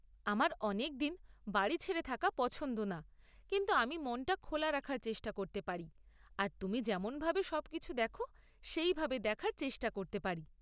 আমার অনেকদিন বাড়ি ছেড়ে থাকা পছন্দ না, কিন্তু আমি মনটা খোলা রাখার চেষ্টা করতে পারি আর তুমি যেমনভাবে সবকিছু দেখ সেইভাবে দেখার চেষ্টা করতে পারি।